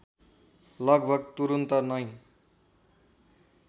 लगभग तुरन्त नै